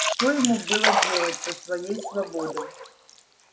что ему было делать со своей свободой